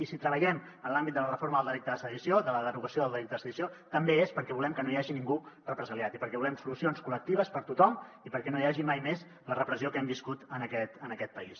i si treballem en l’àmbit de la reforma del delicte de sedició de la derogació del delicte de sedició també és perquè volem que no hi hagi ningú represaliat i perquè volem solucions col·lectives per a tothom i perquè no hi hagi mai més la repressió que hem viscut en aquest país